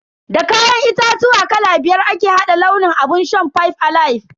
Da kayan itatuwa kala biyar ake hada launin abun shan "five alive".